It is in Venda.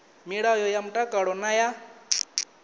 milayo ya mtakalo na ya